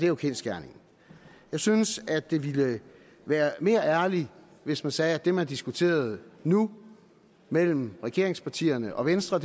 jo kendsgerningen jeg synes at det ville være mere ærligt hvis man sagde at det man diskuterede nu mellem regeringspartierne og venstre